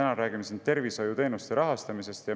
Me räägime siin täna tervishoiuteenuste rahastamisest.